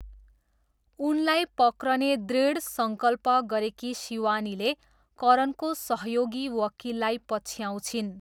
उनलाई पक्रने दृढ सङ्कल्प गरेकी शिवानीले करणको सहयोगी वकिललाई पछ्याउँछिन्।